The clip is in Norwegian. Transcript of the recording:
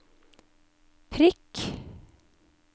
prikk